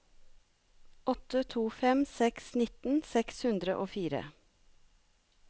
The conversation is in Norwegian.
åtte to fem seks nitten seks hundre og fire